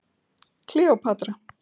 Kleópatra